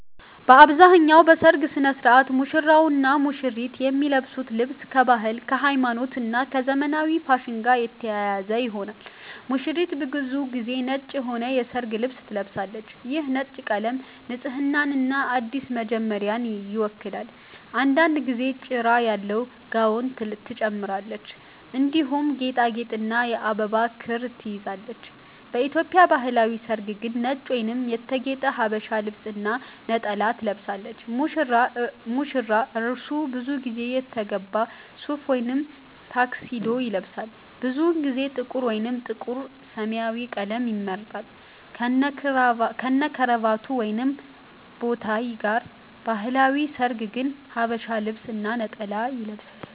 በአብዛኛው በሠርግ ሥነ ሥርዓት ሙሽራውና ሙሽሪት የሚለብሱት ልብስ ከባህል፣ ከሃይማኖት እና ከዘመናዊ ፋሽን ጋር የተያያዘ ይሆናል። ሙሽሪት ብዙ ጊዜ ነጭ የሆነ የሠርግ ልብስ ትለብሳለች። ይህ ነጭ ቀለም ንጽህናንና አዲስ መጀመሪያን ይወክላል። አንዳንድ ጊዜ ጭራ ያለው ጋውን ትጨምራለች፣ እንዲሁም ጌጣጌጥና የአበባ ክር ትይዛለች። በኢትዮጵያ ባህላዊ ሠርግ ግን ነጭ ወይም የተጌጠ ሀበሻ ልብስ እና ነጠላ ትለብሳለች። ሙሽራ : እርሱ ብዙ ጊዜ የተገባ ሱፍ ወይም ታክሲዶ ይለብሳል። ብዙውን ጊዜ ጥቁር ወይም ጥቁር-ሰማያዊ ቀለም ይመርጣል፣ ከነክራቫት ወይም ቦታይ ጋር። በባህላዊ ሠርግ ግን ሐበሻ ልብስ እና ነጠላ ይለብሳል።